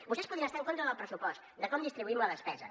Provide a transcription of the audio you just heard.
vostès podien estar en contra del pressupost de com distribuïm la despesa